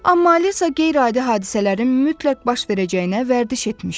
Amma Alisa qeyri-adi hadisələrin mütləq baş verəcəyinə vərdiş etmişdi.